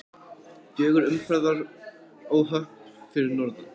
Fjögur umferðaróhöpp fyrir norðan